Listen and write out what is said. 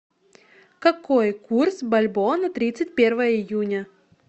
какой курс бальбоа на тридцать первое июня